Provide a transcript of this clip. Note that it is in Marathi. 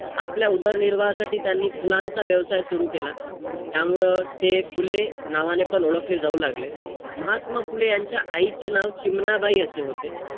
आपल्या उदरनिर्वाहासाठी त्यांनी फुलांचा व्यवसाय सुरु केला. त्यामुळं ते फुले नावाने पण ओळखले जाऊ लागले. महात्मा फुले यांच्या आईचे नाव चिमणाबाई असे होते.